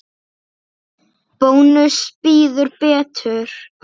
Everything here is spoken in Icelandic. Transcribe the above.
Bónus býður betur.